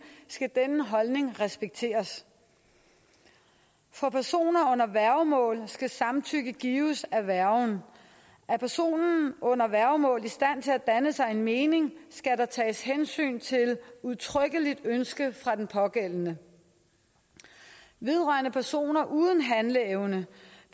skal denne holdning respekteres for personer under værgemål skal samtykke gives af værgen er personen under værgemål i stand til at danne sig en mening skal der tages hensyn til et udtrykkeligt ønske fra den pågældende vedrørende personer uden handleevne